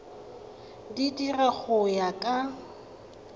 di dira go ya ka